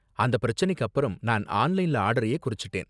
அந்த பிரச்சனைக்கு அப்பறம் நான் ஆன்லைன் ஆர்டரயே குறைச்சுட்டேன்.